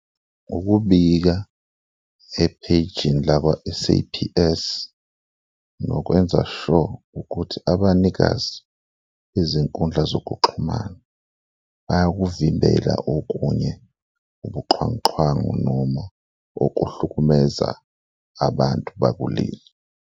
Ukubika ephejini lakwa-S_A_P_S nokwenza sure ukuthi abanikazi bezinkundla zokuxhumana bayakuvimbela okunye ubuxhwanguxhwangu noma ukuhlukumeza abantu bakuleli.